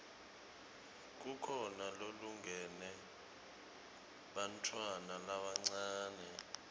kukhona lolungele bantfwana labancane